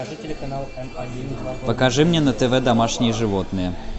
покажи мне на тв домашние животные